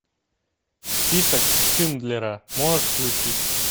список шиндлера можешь включить